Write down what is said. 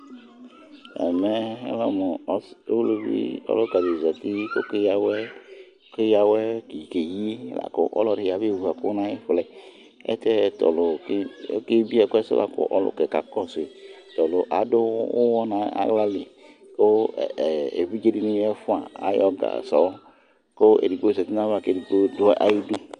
Ɛmɛ lanu uluvi ɔlukadi zati kɔvoké ya awɛké yɩ Ɔlɔdi abé ʋu ɛku nu ɑyi ƒuɛ Itiɛ tɔlu oké bié ɛkuɛ sula ku ɔluƙɛ ka kɔsui Tɔlu adu uwɔ nu aɣlali ku évidjé dini ayɔ gasɔ ku édigbo zati nayava ku édigbo du aui du